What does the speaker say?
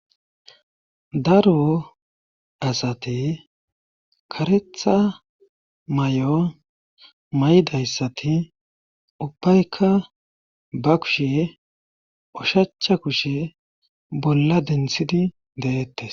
daro asate karetha may7o may7dayssati ubbaykka ba kushe ushacha kushe bolla denthidi deettes